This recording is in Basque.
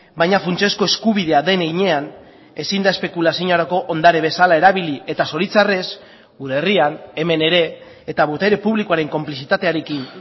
baina funtsezko eskubidea den heinean ezin da espekulaziorako ondare bezala erabili eta zoritxarrez gure herrian hemen ere eta botere publikoaren konplizitatearekin